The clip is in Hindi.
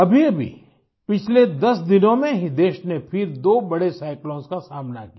अभीअभी पिछले 10 दिनों में ही देश ने फिर दो बड़े साइक्लोन्स का सामना किया